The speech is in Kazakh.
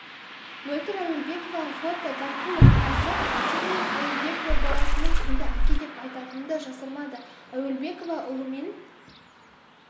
мөлдір әуелбекова фото гәкку арнасы сондай-ақ әуелбекова баласының кімді әке деп атайтынын да жасырмады әуелбекова ұлымен